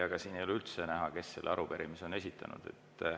Siit ei ole üldse näha, kes selle arupärimise on esitanud.